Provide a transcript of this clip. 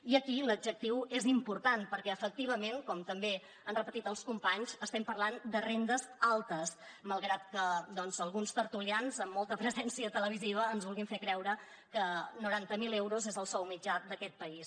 i aquí l’adjectiu és important perquè efectivament com també han repetit els companys estem parlant de rendes altes malgrat que doncs alguns tertulians amb molta presència televisiva ens vulguin fer creure que noranta miler euros és el sou mitjà d’aquest país